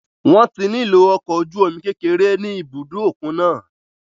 Wọ́n ti nílò ọkọ̀ ojú omi kékeré ní ibùdó òkun náà.